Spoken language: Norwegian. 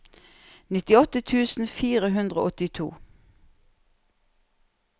nittiåtte tusen fire hundre og åttito